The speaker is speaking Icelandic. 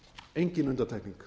engin undantekning